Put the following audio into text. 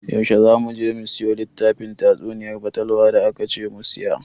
Yaushe za mu je mu siyo littafin tatsuniyar fatalwa da akace mu siya?